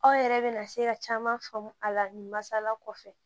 Aw yɛrɛ bɛna se ka caman faamu a la ni masala kɔfɛ